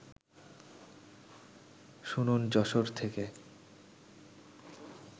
শুনুন যশোর থেকে